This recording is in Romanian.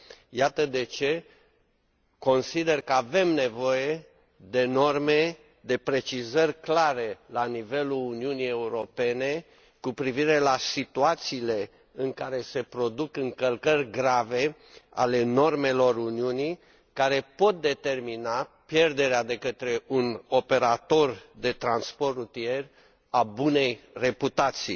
Iată de ce consider că avem nevoie de norme, de precizări clare la nivelul Uniunii Europene cu privire la situațiile în care se produc încălcări grave ale normelor Uniunii, care pot determina pierderea de către un operator de transport rutier a bunei reputații.